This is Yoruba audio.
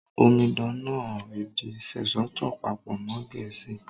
Omidan náà èdè Sesotho pàpò mọn Gẹ̀ẹ̀síì